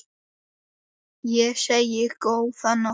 Ég segi: Góða nótt!